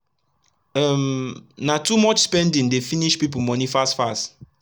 um na too much spending dey finish pipu moni fast fast